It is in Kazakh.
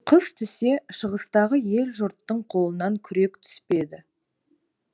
қыс түсе шығыстағы ел жұрттың қолынан күрек түспеді